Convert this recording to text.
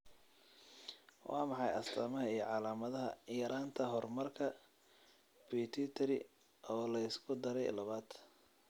Waa maxay astamaha iyo calaamadaha yaraanta hormoonka Pituitary, oo la isku daray labad?